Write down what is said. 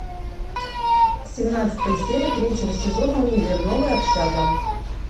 семнадцатая серия третьего сезона универ новая общага